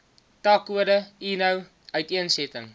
takkode eno uiteensetting